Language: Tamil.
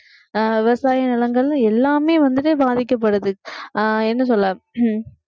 அஹ் விவசாய நிலங்கள்ல எல்லாமே வந்துட்டு பாதிக்கப்படுது அஹ் என்ன சொல்ல